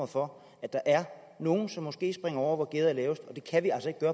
for at der er nogle som måske springer over hvor gærdet er lavest